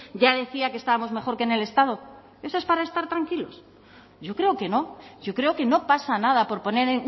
ya decía que estábamos mejor que en el estado eso es para estar tranquilos yo creo que no yo creo que no pasa nada por poner